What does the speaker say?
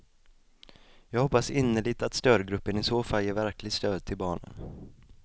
Jag hoppas innerligt att stödgruppen i så fall ger verkligt stöd till barnen.